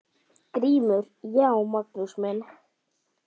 GRÍMUR: Já, Magnús minn!